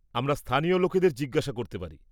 আমরা স্থানীয় লোকেদের জিজ্ঞেস করতে পারি।